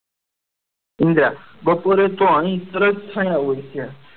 ઇન્દિરા બપોરે તો અહિયાં સરસ છાયા હોય છે